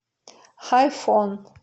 хайфон